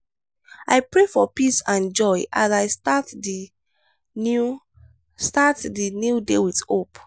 i pray for peace and joy as i start di new start di new day with hope.